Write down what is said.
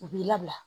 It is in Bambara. U b'i labila